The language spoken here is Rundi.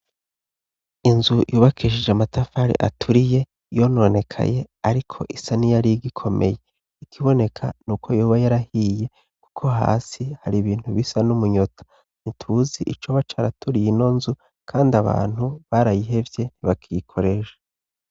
Inzu yubakishije amatafari aturiye yononekaye ariko isa niyarigikomeye, ikiboneka nuko yoba yarahiye kuko hasi hari ibintu bisa n'umunyota, ntituzi icoba caraturiye ino nzu kandi abantu barayihevye ntibakiyikoresha.